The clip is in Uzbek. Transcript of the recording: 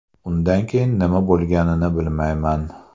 Undan keyin nima bo‘lganini bilmayman.